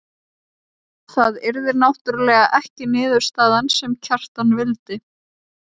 Það yrði náttúrlega ekki niðurstaðan sem Kjartan vildi.